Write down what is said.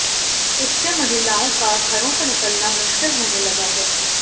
इससे महिलाओं का घरों से निकलना मुश्किल होने लगा है